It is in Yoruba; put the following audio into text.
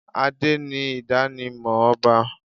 Adé ni idanimọ ọba.